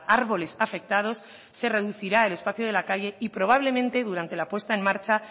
árboles afectados se reducirá el espacio de la calle y probablemente durante la puesta en marcha